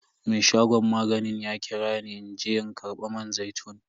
Me shagon maganin ya kira ni in je in karba man zaitun.